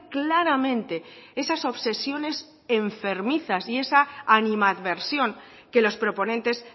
claramente esas obsesiones enfermizas y esa animadversión que los proponentes